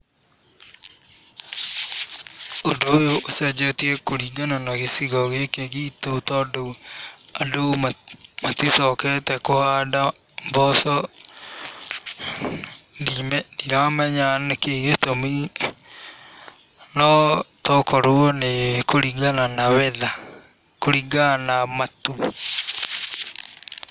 Ũndũ ũyũ ũcenjetie kũringana na gĩcigo gĩkĩ gitũ tondũ andũ maticokete kũhanda mboco, ndiramenya nĩkĩ gĩtũmi no tokorwo nĩ kũringana na weather kũringana na matu.